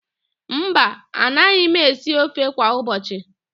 Mba, anaghị m esi ofe kwa ụbọchị..